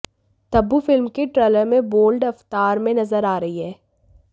Tabu film के trailer में bold अवतार में नजर आ रही हैं